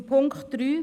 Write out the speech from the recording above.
Zu Punkt 3: